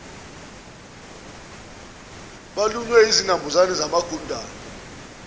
balunywe izinambuzane zamagundwane